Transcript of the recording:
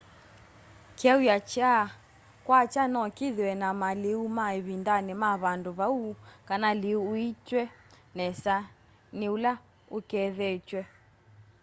kyauya kya kwakya no kithiwe na maliu ma ivindani ma vandu vau kana liu uuitwe nesa ni ula ukethetw'e